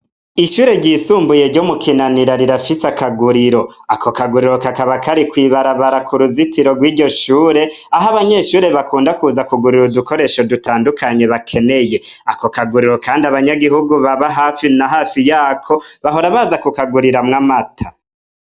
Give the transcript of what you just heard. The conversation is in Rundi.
Ishure ryisumbuye ryo mu Kinanira rirafise akaguriro. Ako kaguriro ka kaba kari kw'ibarabara, k'uruzitiro rw'iryo shure, aho abanyeshure bakunda kuza kugurira udukoresho dutandukanye bakeneye. Ako kaguriro kandi, abanyagihugu baba hafi na hafi y'ako, bahora baza kukaguriramwo amata.